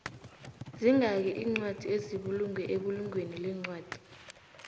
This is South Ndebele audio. zingaki incwadi ezibulungwe ebulungweni lencwadi